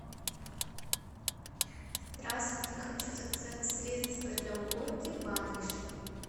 здравствуйте хочу заказать средство для уборки ваниш